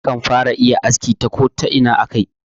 Akan fara iya aski ta Kota'ina a kai